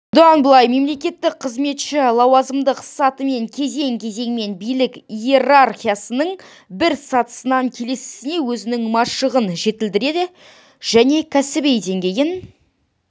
бұдан былай мемлекеттік қызметші лауазымдық сатымен кезең-кезеңмен билік иерархиясының бір сатысынан келесісіне өзінің машығын жетілдіре және кәсіби деңгейін